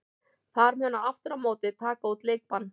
Þar mun hann aftur á móti taka út leikbann.